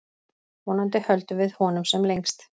Vonandi höldum við honum sem lengst.